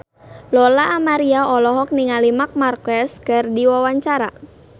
Lola Amaria olohok ningali Marc Marquez keur diwawancara